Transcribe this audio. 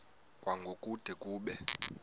kwango kude kube